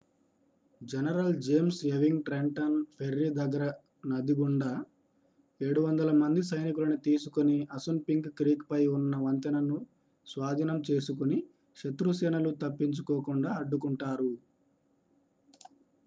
general James Ewing Trenton Ferry దగ్గర నది గుండా 700మంది సైనికులని తీసుకొని అసున్పింక్ క్రీక్ పై ఉన్న వంతెనను స్వాధీనం చేసుకుని శత్రు సేనలు తప్పించుకోకుండా అడ్డుకుంటారు